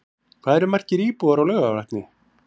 Hvað eru margir íbúar á Laugarvatni?